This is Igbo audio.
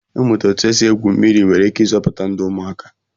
Ịmụta otú e si egwu mmiri nwere ike ịzọpụta ndụ ụmụaka